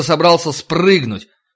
собрался спрыгнуть